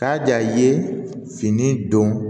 Ka ja i ye fini don